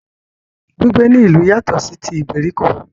Gbígbé ní ìlú yatọ̀ sí tí ìgbèríko.